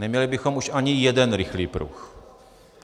Neměli bychom už ani jeden rychlý pruh.